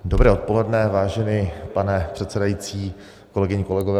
Dobré odpoledne, vážený pane předsedající, kolegyně, kolegové.